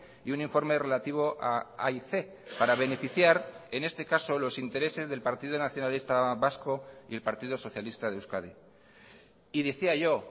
y un informe relativo a aic para beneficiar en este caso los intereses del partido nacionalista vasco y el partido socialista de euskadi y decía yo